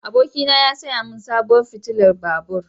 Abokina ya saya min sabuwar fitilar babur.